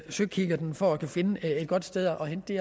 søkikkerten for at finde et godt sted at hente